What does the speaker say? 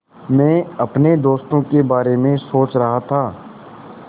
मैं अपने दोस्तों के बारे में सोच रहा था